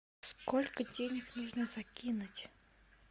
сколько денег нужно закинуть